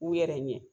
U yɛrɛ ɲɛ